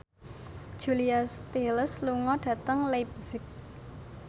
Julia Stiles lunga dhateng leipzig